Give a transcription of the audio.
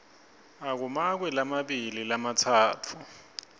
akumakwe lamabili lamatsatfu